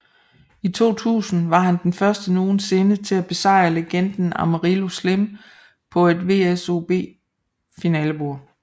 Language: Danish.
I 2000 var han den første nogensinde til at besejrede legenden Amarillo Slim på et WSOP finalebord